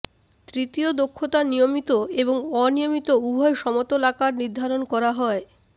তৃতীয় দক্ষতা নিয়মিত এবং অনিয়মিত উভয় সমতল আকার নির্ধারণ করা হয়